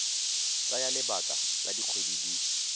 tsaya lebaka la dikgwedi di